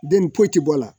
Den foyi tɛ bɔ a la